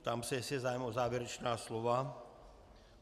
Ptám se, jestli je zájem o závěrečná slova.